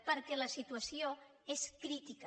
perquè la situació és crítica